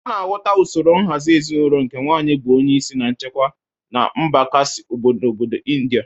A na-ahụta usoro nhazị ezinaụlọ nke nwaanyị bụ onyeisi na onye nchikwa na mba Khasi n'obodo Indịa.